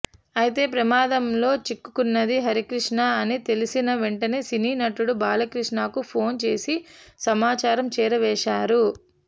అయితే ప్రమాదంలో చిక్కుకున్నది హరికృష్ణ అని తెలిసిన వెంటనే సినీ నటుడు బాలకృష్ణకు ఫోన్ చేసి సమాచారం చేరవేశారు